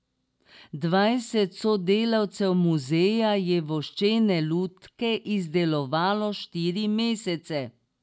Dvajset sodelavcev muzeja je voščene lutke izdelovalo štiri mesece.